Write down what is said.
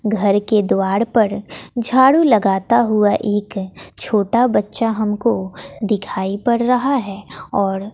घर के द्वार पर झाड़ू लगाता हुआ एक छोटा बच्चा हमको दिखाई पड़ रहा है और--